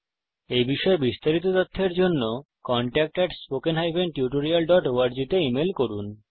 এই বিষয়ে বিস্তারিত তথ্যের জন্য কনট্যাক্ট at spoken tutorialঅর্গ তে ইমেল করুন